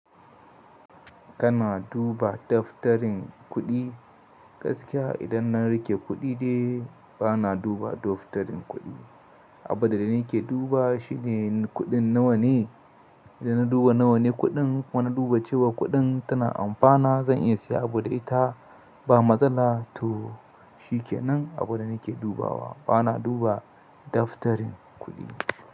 Kana duba daftarin kuɗi gaskiya idan na riƙe kuɗi dai bana duba daftarin kuɗi. Abunda nake duba shine kuɗin nawa ne da na duba nawane kuɗin kuma na duba cewa kuɗin tana amfana zan iya siya abu da ita ba matsala to shikenan abunda nake dubawa bana duba daftarin kuɗi.